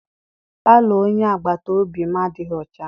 Palọ onye agbata obi m adịghị ọcha.